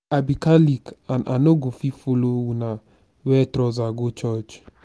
i be catholic and i no go fit follow una wear trouser go church